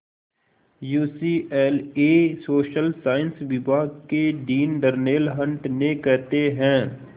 UCLA social science विभाग के dean Darnell Hunt ने कहते हैं